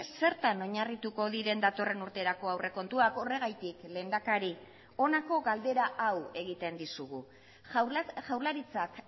zertan oinarrituko diren datorren urterako aurrekontuak horregatik lehendakari honako galdera hau egiten dizugu jaurlaritzak